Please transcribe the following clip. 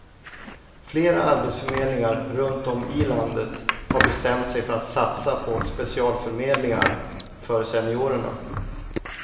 Flera arbetsförmedlingar runtom i landet har bestämt sig för att satsa på specialförmedlingar för seniorerna.